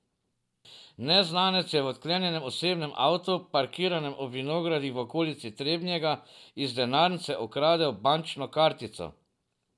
Neznanec je v odklenjenem osebnem avtu, parkiranem ob vinogradih v okolici Trebnjega, iz denarnice ukradel bančno kartico.